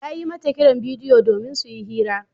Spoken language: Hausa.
Ya yi mata kiran bidiyo domin su yi hira.